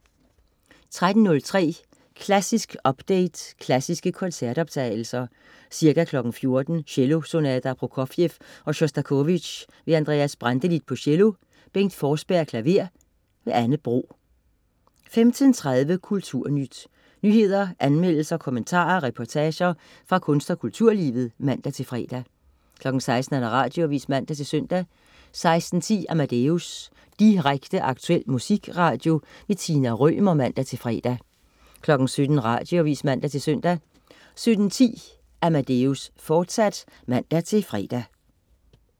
13.03 Klassisk update Klassiske koncertoptagelser. Ca. 14:00 Cellosonater af Prokofjev og Sjostakovitj. Andreas Brantelid, cello. Bengt Forsberg, klaver. Anne Bro 15.30 Kulturnyt. Nyheder, anmeldelser, kommentarer og reportager fra kunst- og kulturlivet (man-fre) 16.00 Radioavis (man-søn) 16.10 Amadeus. Direkte, aktuel musikradio. Tina Rømer (man-fre) 17.00 Radioavis (man-søn) 17.10 Amadeus, fortsat (man-fre)